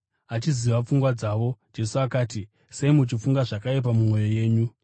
Achiziva pfungwa dzavo Jesu akati, “Sei muchifunga zvakaipa mumwoyo yenyu?